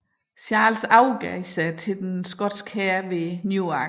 Charles overgav sig til den skotske hær ved Newark